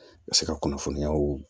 Se ka kunnafoniyaw